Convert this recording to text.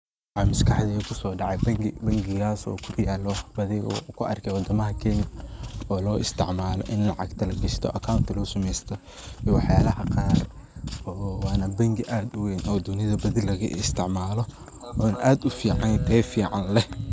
Mxa MasQaxdey kusodactay Bank ki bankikasoo oo kuyaloh bathi oo ku argay wadamaha keenya oo isticmaloh ini lacagta lagashtoh account lobsameeytoh lacag Qaar Wana banki u weeyn oo dunitha isticmaloh oo aad u ficantahay Tayo fican leeh.